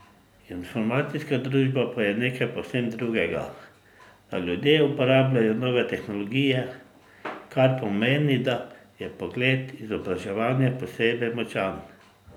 Informacijska družba pa je nekaj povsem drugega, da ljudje uporabljajo nove tehnologije, kar pomeni, da je pogled izobraževanja posebej močan.